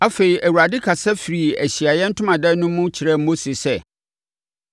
Afei, Awurade kasa firii Ahyiaeɛ Ntomadan no mu kyerɛɛ Mose sɛ,